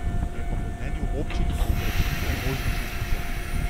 Je pa po mnenju občin povprečnino možno še znižati.